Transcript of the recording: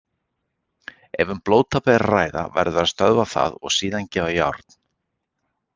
Ef um blóðtap er að ræða verður að stöðva það og síðan gefa járn.